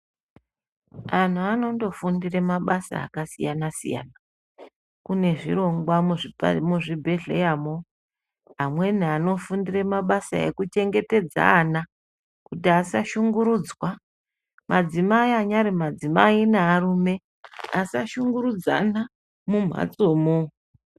Antu ano ngofundira mabasa akasiyana siyana kune zvirongwa muzvibhehleya mo vamweni vanofundira mabasa ekuchengetedza ana kuti asa shungurudza madzimai anyari madzimai nearume asa shungurudzana mumhatsomo.